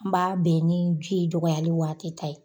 N b'a bɛn ni biye dɔgɔyali waati ta ye